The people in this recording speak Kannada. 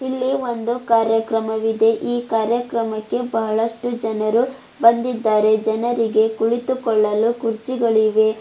ಇಲ್ಲಿ ಒಂದು ಕಾರ್ಯಕ್ರಮವಿದೆ ಈ ಕಾರ್ಯಕ್ರಮಕ್ಕೆ ಬಹಳಷ್ಟು ಜನರು ಬಂದಿದ್ದಾರೆ ಜನರಿಗೆ ಕುಳಿತುಕೊಳ್ಳಲು ಕುರ್ಚಿಗಳಿವೆ.